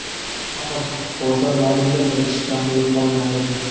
Axir, forslar maydonda bir kishi kam bo‘lib qolgandi.